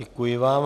Děkuji vám.